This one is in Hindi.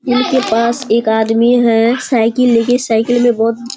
इनके पास एक आदमी है साइकिल ले के साइकिल में बहुत --